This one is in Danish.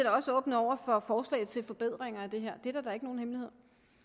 også åbne over for forslag til forbedringer af det her det er da ikke nogen hemmelighed